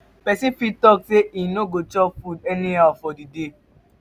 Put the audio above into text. persin fit talk say im no go chop food anyhow for di day